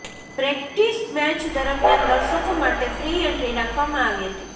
practice match દરમિયાન દર્શકો માટે ફ્રી એન્ટ્રી રાખવામાં આવી હતી